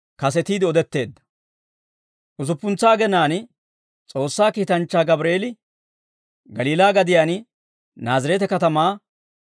Usuppuntsa agenaan S'oossaa kiitanchchaa Gabreel Galiilaa gadiyaan Naazireete Katamaa